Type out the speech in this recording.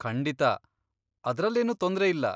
ಖಂಡಿತಾ! ಅದ್ರಲ್ಲೇನೂ ತೊಂದ್ರೆ ಇಲ್ಲ.